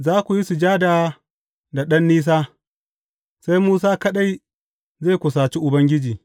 Za ku yi sujada da ɗan nisa, sai Musa kaɗai zai kusaci Ubangiji.